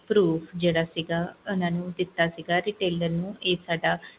ਜਿਹੜਾ IDproof ਸੀਗਾ ਓਹਨਾ ਨੂੰ ਦਿੱਤਾ ਸੀਗਾ retailer ਨੂੰ ਸਾਡਾ